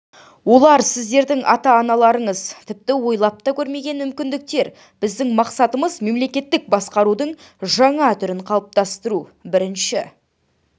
олар сіздердің ата-аналарыңыз тіпті ойлап та көрмеген мүмкіндіктер біздің мақсатымыз мемлекеттік басқарудың жаңа түрін қалыптастыру бірінші